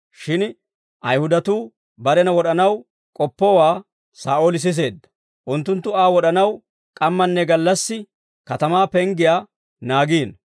Shin Ayihudatuu barena wod'anaw k'oppowaa Saa'ooli siseedda; unttunttu Aa wod'anaw k'ammanne gallassi katamaa penggiyaa naagiino.